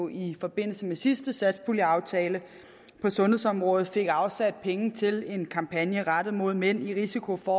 i forbindelse med sidste satspuljeaftale på sundhedsområdet fik afsat penge til en kampagne rettet mod mænd med risiko for